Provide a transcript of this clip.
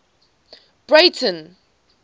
breyten